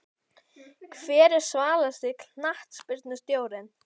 Hver er svalasti knattspyrnustjórinn?